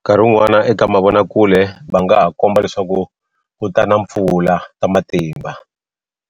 Nkarhi wun'wana eka mavonakule va nga ha komba leswaku ku ta na mpfula ta matimba